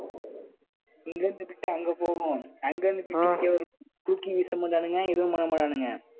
இங்க இருந்துகிட்டு bit அங்க போகும். அங்க இருந்து bit இங்க வரும். தூக்கி வீச மாட்டானுங்க, எதுவும் பண்ண மாட்டானுங்க